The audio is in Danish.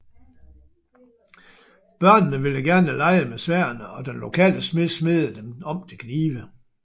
Børnene ville gerne lege med sværdene og den lokale smed smedede dem om til knive